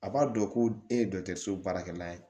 A b'a dɔn ko e ye so baarakɛla ye